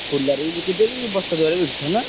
ଖୋଲାରେ ବି ବିକୁଚ ବି ବସ୍ତା ଦ୍ଵାରା ବିକୁଚ ନା?